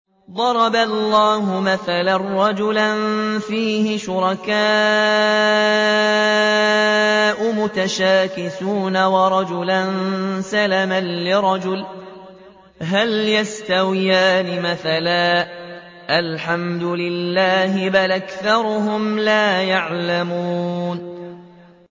ضَرَبَ اللَّهُ مَثَلًا رَّجُلًا فِيهِ شُرَكَاءُ مُتَشَاكِسُونَ وَرَجُلًا سَلَمًا لِّرَجُلٍ هَلْ يَسْتَوِيَانِ مَثَلًا ۚ الْحَمْدُ لِلَّهِ ۚ بَلْ أَكْثَرُهُمْ لَا يَعْلَمُونَ